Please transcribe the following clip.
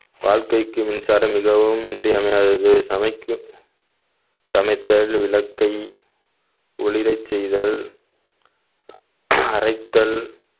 வாழ்க்கைக்கு மின்சாரம் மிகவும் இன்றியமையாதது சமைக்கும் சமைத்தல், விளக்கை ஒளிரச் செய்தல் அரைத்தல்